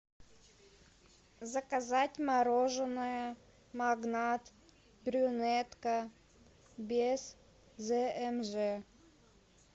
заказать мороженое магнат брюнетка без змж